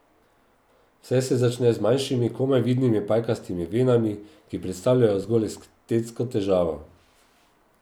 Vse se začne z manjšimi, komaj vidnimi pajkastimi venami, ki predstavljajo zgolj estetsko težavo.